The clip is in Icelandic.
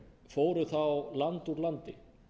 fóru þá land úr landi